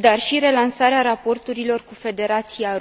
dar și relansarea raporturilor cu Federația Rusă.